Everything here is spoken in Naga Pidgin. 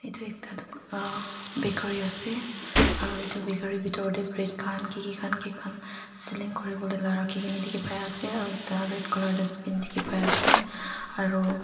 itu ekta dukan uhh bakery ase aru itu bakery bitor teh bread khan kiki khan selling kuribole la rakhi na ase aro ekta red colour dustbin dikhi pai ase aru.--